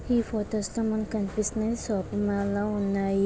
ఈ photos లో మనకి కనిపిస్తుంది షాపింగ్ మాల్ లా ఉన్నాయి.